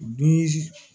Dum